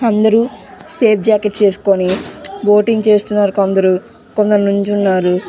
అందరు safe jacket వేసోకొని boating చేస్తున్నారు కొందరు కొందరు నిలోచునారు.